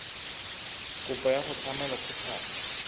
kopo ya go tlhama lekgotlana